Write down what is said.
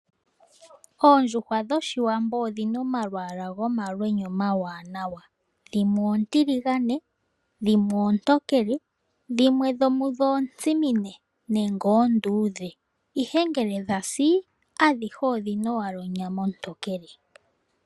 Oondjuhwa dhoshiwambo odhina omalwaala gomalwenya omawanawa. Dhimwe oontiligane, dhimwe oontokele, dhimwe dhomudho oontsimine nenge oonduudhe. Ihe ngele dhasi adhihe odhina wala onyama ontookele.